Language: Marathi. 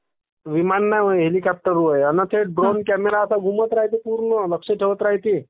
विमान नव्ह हेलिकॉप्टर होया ना... ते द्रोण कॅमेरा असे घुमत राहिल्ये...पूर्ण लक्ष ठेवतं राहिल्ये